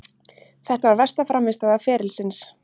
Þetta var versta frammistaða ferilsins.